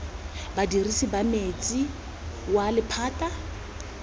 badirisi ba metsi wa lephata